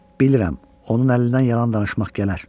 Bilirəm, onun əlindən yalan danışmaq gələr.